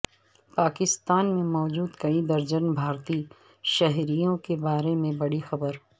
پاکستان میں موجود کئی درجن بھارتی شہریوں کے بارے میں بڑی خبر